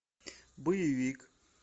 боевик